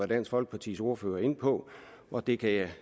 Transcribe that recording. dansk folkepartis ordfører inde på og det kan